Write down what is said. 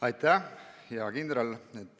Aitäh, hea kindral!